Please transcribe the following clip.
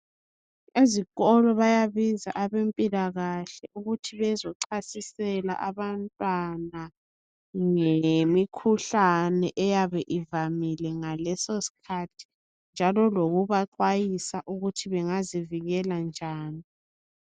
Ezikolo bayabiza abempilakahle ukuthi bezochasisela Abantwana ngemikhuhlane eyabe ivamile ngaleso sikhathi njalo lokubaxwayisa ukuthi bengazivikela njani.